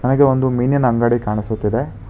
ಹಾಗೆ ಒಂದು ಮೀನಿನ ಅಂಗಡಿ ಕಾಣಿಸುತ್ತಿದೆ.